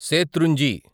శేత్రుంజి